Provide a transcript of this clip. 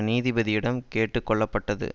நீதிபதியிடம் கேட்டு கொள்ளப்பட்டது